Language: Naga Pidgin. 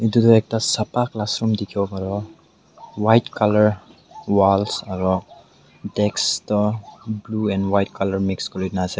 etu etu ekta sapha class room dekhi paribo white colour wall etu desk to blue and white colour mix kori na ase.